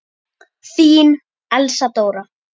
Þín, Elsa Dóra.